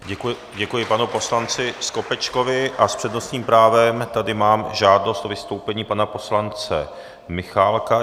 Děkuji panu poslanci Skopečkovi a s přednostním právem tady mám žádost o vystoupení pana poslance Michálka.